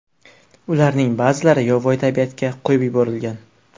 Ularning ba’zilari yovvoyi tabiatga qo‘yib yuborilgan.